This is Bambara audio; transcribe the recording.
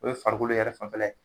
O ye farikolo yɛrɛ fanfɛ la